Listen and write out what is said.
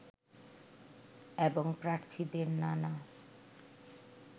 এবং প্রার্থীদের নানা